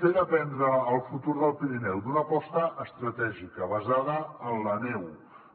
fer dependre el futur del pirineu d’una aposta estratègica basada en la neu